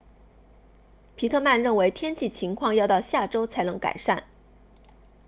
皮特曼认为天气情况要到下周才能改善